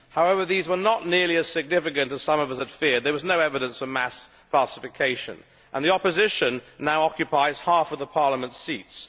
However these were not nearly as significant as some of us had feared. There was no evidence of mass falsification, and the opposition now occupies half of the parliament seats.